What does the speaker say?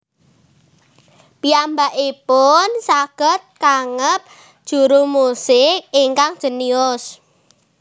Piyambakipun saged kaangep juru musik ingkang jénius